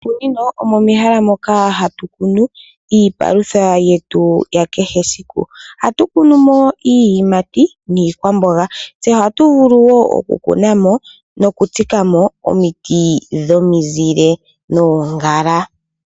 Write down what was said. Moshikunino omo mehala moka hatu kunu iipalutha yetu ya kehe esiku. Ohatu kunu mo iiyimati niikwamboga. Ohatu vulu wo okukuna mo nokutsika mo omiti dhomizile noongala.